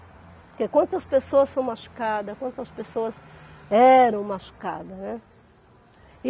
Porque quantas pessoas são machucadas, quantas pessoas eram machucadas, né?